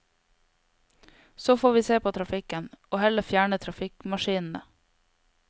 Så får vi se på trafikken, og heller fjerne trafikkmaskinene.